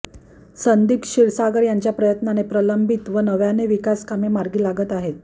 संदीप क्षीरसागर यांच्या प्रयत्नाने प्रलंबित व नव्याने विकास कामे मार्गी लागत आहेत